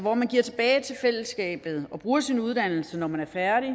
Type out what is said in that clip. at man giver tilbage til fællesskabet og bruger sin uddannelse når man er færdig